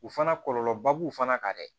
U fana kɔlɔlɔba b'u fana kan dɛ